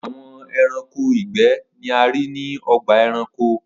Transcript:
Awọn ẹranko igbẹ ni a rii ni ọgba ẹranko.